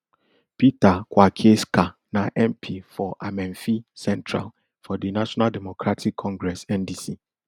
peter kwakyeackah na mp for amenfi central for di national democratic congress ndc